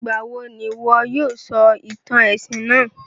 Ìgbàwo n'ìwo yóò sọ ìtàn èsìn náà?